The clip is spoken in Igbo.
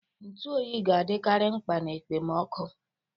Ntụ oyi ga-adịkarị mgba na ekpemoku.